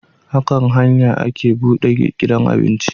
A kan hanya ake buɗe gidan abinci